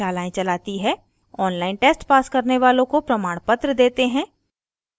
online test pass करने वालों को प्रमाणपत्र देते हैं